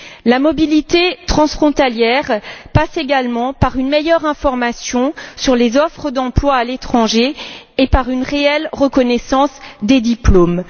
La mobilité transfrontalière passe également par une meilleure information sur les offres d'emploi à l'étranger et par une réelle reconnaissance des diplômes.